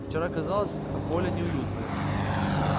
вчера казалось воля неуютная